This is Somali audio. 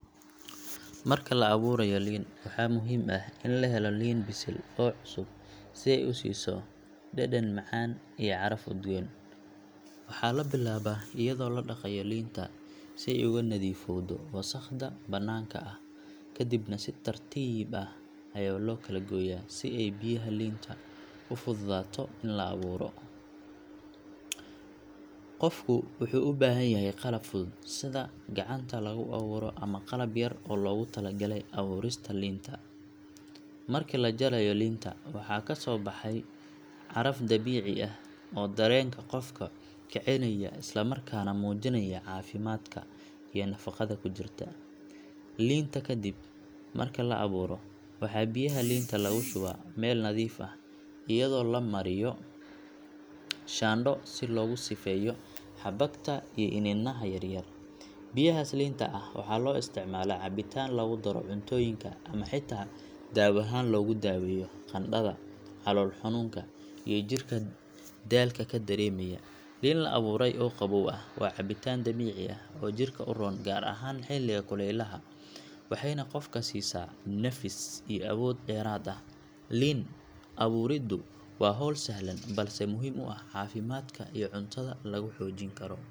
Marka la awoorayo liin waxaa muhiim ah in la helo liin bisil oo cusub si ay u siiso dhadhan macaan iyo caraf udgoon. Waxaa la bilaabaa iyadoo la dhaqayo liinta si ay uga nadiifowdo wasakhda bannaanka ah kadibna si tartiib ah ayaa loo kala gooyaa si ay biyaha liinta u fududaato in la awooro. Qofku wuxuu u baahan yahay qalab fudud sida gacanta lagu awooro ama qalab yar oo loogu talagalay awoorista liinta. Markii la jarayo liinta waxaa kasoo baxay caraf dabiici ah oo dareenka qofka kicinaya isla markaana muujinaya caafimaadka iyo nafaqada ku jirta liinta. Kadib marka la awooro waxaa biyaha liinta lagu shubaa weel nadiif ah iyadoo la mariyo shaandho si loogu sifeeyo xabagta iyo iniinaha yar yar. Biyahaas liinta ah waxaa loo isticmaalaa cabitaan, lagu daro cuntooyinka ama xitaa dawo ahaan loogu daweeyo qandhada, calool xanuunka iyo jirka daalka ka dareemaya. Liin la awooray oo qabow ah waa cabitaan dabiici ah oo jidhka u roon gaar ahaan xilliga kulaylaha, waxayna qofka siisaa nafis iyo awood dheeraad ah. Liin awooridu waa hawl sahlan balse muhiim ah oo caafimaadka iyo cuntada lagu xoojin karo.